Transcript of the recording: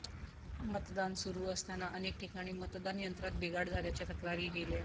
मतदान सुरू असताना अनेक ठिकाणी मतदान यंत्रात बिघाड झाल्याच्या तक्रारी केल्या